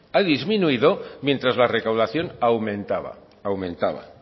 ha disminuido mientras la recaudación aumentaba